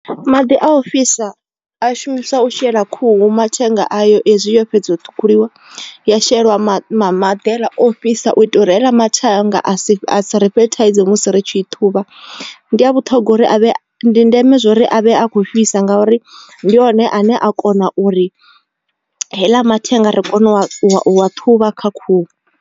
Maḓi a u fhisa a shumiswa u shela khuhu mathenga ayo ezwi yo fhedzaho ṱhukhuliwa ya shelwa maḓi maḓi haeḽa ofhisa u itela u heaḽa mathenga a si a si ri fhe thaidzo musi ri tshi i ṱhuvha. Ndi a vhuṱhongwa uri avhe ndi ndeme zwa uri a vhe a khou fhisa ngauri ndi hone ane a kona uri heiḽa mathenga ri kone u a u a ṱhuvha kha khuhu.